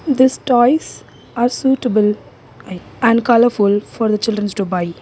this toys are suitable an and colourful for the childrens to buy.